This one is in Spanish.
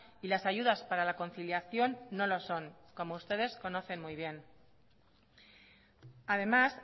y las ayudas para la conciliación no lo son como ustedes conocen muy bien además